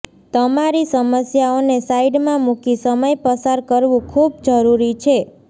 તમારી સમસ્યાઓને સાઈડમાં મૂકી સમય પસાર કરવું ખૂબ જરૂરી છે